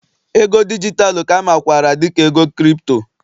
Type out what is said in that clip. ego dijitalụ ka a makwaara dị ka ego Kripto